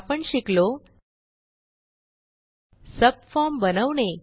आपण शिकलो सबफॉर्म बनवणे